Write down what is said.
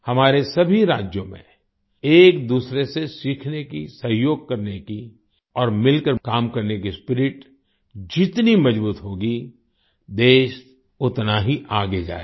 हमारे सभी राज्यों में एक दूसरे से सीखने की सहयोग करने की और मिलकर काम करने की स्पिरिट जितनी मजबूत होगी देश उतना ही आगे जाएगा